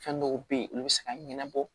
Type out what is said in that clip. Fɛn dɔw be ye olu be se ka ɲɛnabɔ